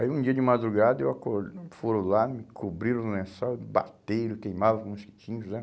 Aí, um dia de madrugada, eu acor, foram lá, me cobriram no lençol, bateram, queimavam os mosquitinhos, né?